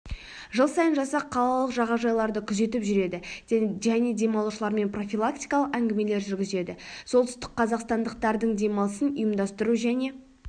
жыл сайын жасақ қалалық жағажайларды күзетіп жүреді және демалушылармен профилактикалық әңгімелер жүргізеді солтүстік қазақстандықтардың демалысын ұйымдастыру және